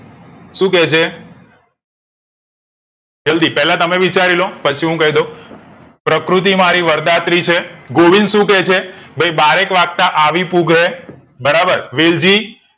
શું કે છે જલ્દી પેલા તમે વિચારી લો પછી હું કય દવ પ્રકૃતિમારી વર્દાત્રી છે ગોવિંદ શું કે છે ભઈ બારેક વાગતા આવી પુગરે વેલઝી